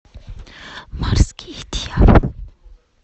морские дьяволы